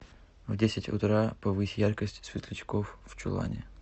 в десять утра повысь яркость светлячков в чулане